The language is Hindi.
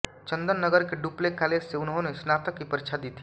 चन्दन नगर के डुप्ले कालेज से उन्होंने स्नातक की परीक्षा दी थी